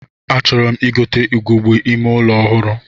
A chọrọ m igote ugegbe ime ụlọ ọhụrụ